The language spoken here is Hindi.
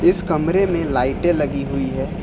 इस कमरे में लाइटे लगी हुई है।